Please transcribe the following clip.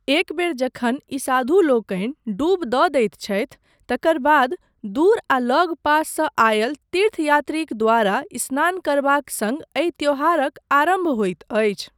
एक बेर जखन ई साधुलोकनि डूब दऽ दैत छथि तकर बाद दूर आ लगपास सँ आयल तीर्थयात्रीक द्वारा स्नान करबाक सङ्ग एहि त्यौहारक आरम्भ होइत अछि।